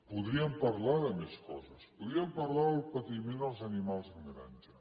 podríem parlar de més coses podríem parlar de patiment als animals en granja